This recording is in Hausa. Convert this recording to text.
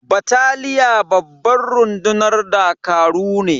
Bataliya babban rundunar dakaru ne.